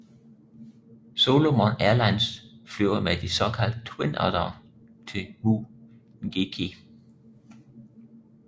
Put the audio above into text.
Solomon Airlines flyver med de så kaldte Twin Oddere ud til Mu Ngiki